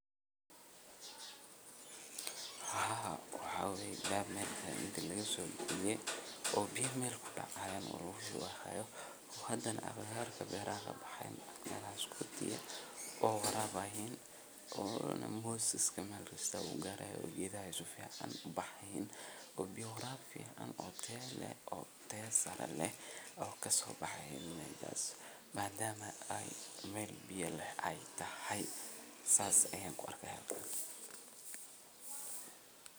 Haa waxaa waye daar meel kale lagasoobixiye oo biyaha meel kudacayaan oo lagushubi haayo hadane agagaarka beeraha kabaxayaan melahas kudi ah oo warabaayannoonanmoos iska meel kasta uu gaarayo oo dedhahan sufican ubaxayiin oo biya waraab fican oo Tayo leh oo Tayo sare leh ee kasobaxaayan meshas madama ey Mel biyo leh eey tahy saas ayaan kuarki hayaa.